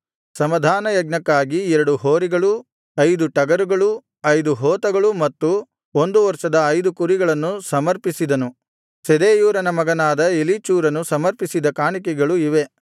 ಸಮಾಧಾನಯಜ್ಞಕ್ಕಾಗಿ ಎರಡು ಹೋರಿಗಳು ಐದು ಟಗರುಗಳು ಐದು ಹೋತಗಳು ಮತ್ತು ಒಂದು ವರ್ಷದ ಐದು ಕುರಿಗಳನ್ನು ಸಮರ್ಪಿಸಿದನು ಶೆದೇಯೂರನ ಮಗನಾದ ಎಲೀಚೂರನು ಸಮರ್ಪಿಸಿದ ಕಾಣಿಕೆಗಳು ಇವೇ